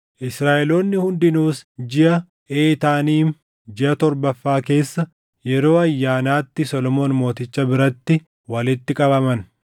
Israaʼeloonni hundinuus jiʼa Eetaaniim, jiʼa torbaffaa keessa yeroo ayyaanaatti Solomoon Mooticha biratti walitti qabaman.